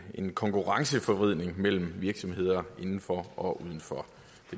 en konkurrenceforvridning mellem virksomheder inden for og uden for